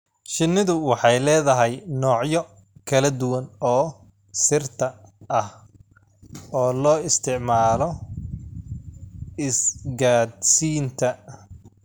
Shinnidu waxay leedahay noocyo kala duwan oo "sirta" ah oo loo isticmaalo isgaadhsiinta.